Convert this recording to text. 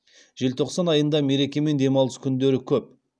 желтоқсан айында мереке мен демалыс күндері көп